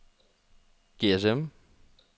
GSM